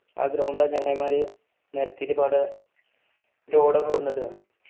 ആ ഗ്രൗണ്ട് ആ ചങ്ങായിമാർ നിരത്തിയിട്ടു ഇപ്പൊ അവിടെ ലോഡ് ഒക്കെ കൊണ്ടുവന്നു ഇട്ടേക്കണ്